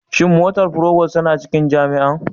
Shin motar provost tana cikin jami'ar?